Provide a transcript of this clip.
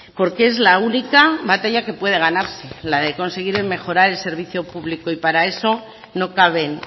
porque es la única batalla que puede ganarse la de conseguir mejorar el servicio público y para eso no caben